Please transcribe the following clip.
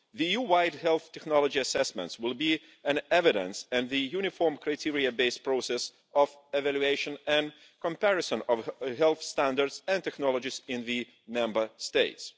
The EU wide health technology assessments will be an evidence based and uniform criteria based process of evaluation and comparison of health standards and technologies in the Member States.